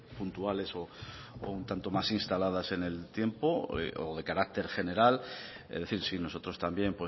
puntuales o un tanto más instaladas en el tiempo o de carácter general es decir sí nosotros también